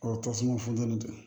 tasuma funtɛni tɛ